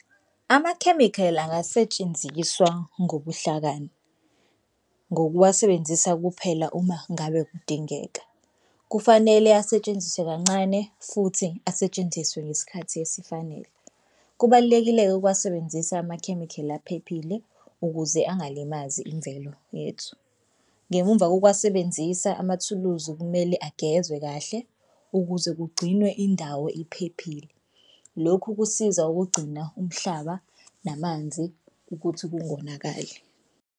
Amakhemikhali angasetshenziswa ngobuhlakani ngokuwasebenzisa kuphela uma ngabe kudingeka. Kufanele asetshenziswe kancane futhi asetshenziswe ngesikhathi esifanele. Kubalulekile-ke ukuwasebenzisa amakhemikhali aphephile ukuze angalimazi imvelo yethu. Ngemumva kokuwasebenzisa amathuluzi kumele agezwe kahle ukuze kugcinwe indawo iphephile. Lokhu kusiza ukugcina umhlaba namanzi ukuthi kungonakali.